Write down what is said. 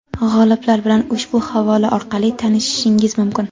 G‘oliblar bilan ushbu havola orqali tanishishingiz mumkin!.